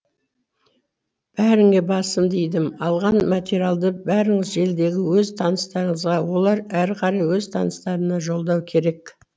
бәріңе басымды идім алған материалды бәріңіз желідегі өз таныстарыңызға олар әрі қарай өз таныстарына жолдау керек